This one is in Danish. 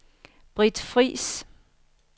Britt Friis